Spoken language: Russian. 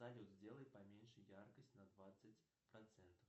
салют сделай поменьше яркость на двадцать процентов